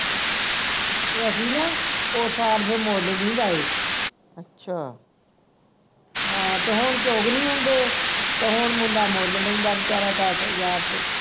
ਤੇ ਅਸੀਂ ਨਾ ਉਸ ਸਾਲ ਫੇਰ ਮੁੱਲ ਨਹੀਂ ਲਏ ਹਾਂ ਤੇ ਹੁਣ ਚੁੱਗ ਨਹੀਂ ਹੁੰਦੇ ਤੇ ਹੁਣ ਮੁੰਡਾ ਮੁੱਲ ਲੈਂਦਾ ਵਿਚਾਰਾ ਦੱਸ ਹਜਾਰ ਦੇ